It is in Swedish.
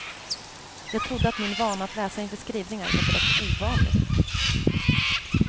Jag trodde att min vana att läsa inför skrivningar var direkt ovanlig.